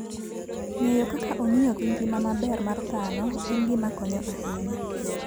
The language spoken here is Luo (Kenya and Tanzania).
Ng'eyo kaka ong'iyo gi ngima maber mar dhano en gima konyo ahinya.